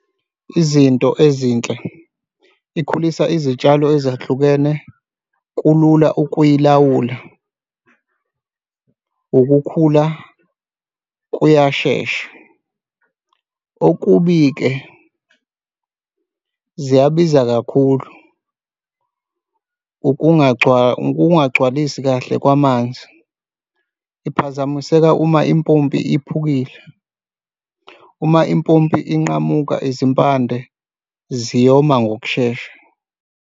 Izinto ezinhle ikhulisa izitshalo ezahlukene kulula ukuyilawula, ukukhula kuyashesha. Okubi-ke ziyabiza kakhulu ukungagcwalisi kahle kwamanzi. Iphazamiseka uma impompi iphukile, uma impompi inqamuka, izimpande ziyoma ngokushesha.